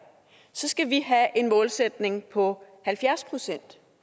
så skal vi have en målsætning på halvfjerds procent